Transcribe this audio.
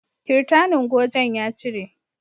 Kirtanin gojen ya cire